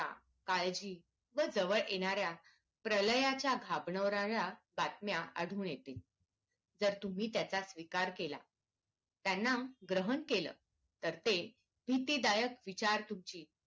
काळजी व जवळ येणाऱ्या प्रलयाच्या घाबरवणाऱ्या बातम्य आढळून येतील तर तुम्ही त्याचा स्वीकार केला त्यांना ग्रहण केलं तर ते भीतीदायक विचार तुमची